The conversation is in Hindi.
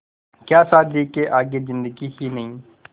क्या शादी के आगे ज़िन्दगी ही नहीं